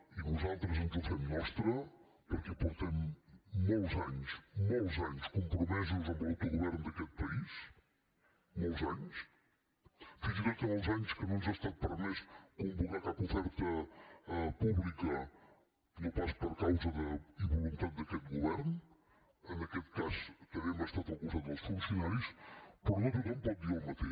i nosaltres ens ho fem nostre perquè portem molts anys molts anys compromesos amb l’autogovern d’aquest país molts anys fins i tot en els anys que no ens ha estat permès convocar cap oferta pública no pas per causa i voluntat d’aquest govern en aquest cas també hem estat al costat dels funcionaris però no tothom pot dir el mateix